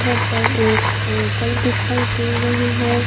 वहां पर एक अंकल दिखाई दे रहे हैं।